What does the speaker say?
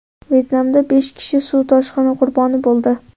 Vyetnamda besh kishi suv toshqini qurboni bo‘ldi.